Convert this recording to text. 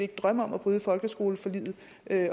drømme om at bryde folkeskoleforliget